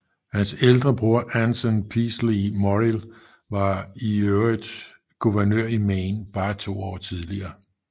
Hans ældre bror Anson Peaslee Morrill var for øvrigt guvernør i Maine bare to år tidligere